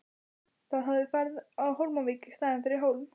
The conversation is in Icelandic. Það hafði farið á Hólmavík í staðinn fyrir Hólm.